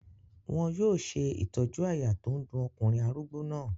Wọn yóò ṣe ìtọ́jú àyà tó ń dun ọkùnrin arúgbó náà.